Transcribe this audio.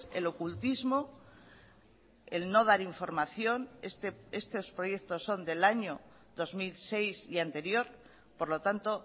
el ocultismo el no dar información estos proyectos son del año dos mil seis y anterior por lo tanto